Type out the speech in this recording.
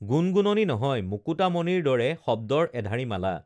গুণগুণনি নহয় মুকুতা মণিৰ দৰে শব্দৰ এধাৰী মালা